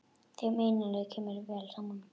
Þeim Einari kemur vel saman.